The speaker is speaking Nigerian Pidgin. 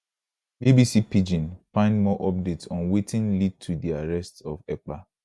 bbc pidgin find more update on wetin lead to di arrest of ekpa